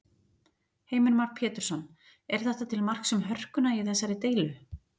Heimir Már Pétursson: Er þetta til marks um hörkuna í þessari deilu?